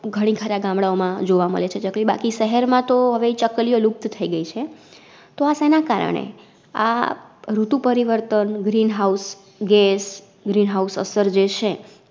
. ઘણીખરા ગામડાઓ માં જોવા મળે છે ચકલી બાકી શહર માંતો હવે ચકલિયો લુપ્ત થઈ ગઈ છે, તો આ શેના કારણે? આ ઋતુપરિવર્તન, Green house gasGreen house અસર જે છે.